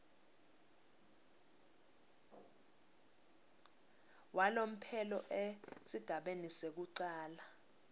walomphelo esigabeni sekucala